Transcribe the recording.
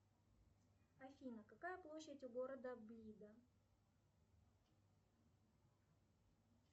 афина какая площадь у города блида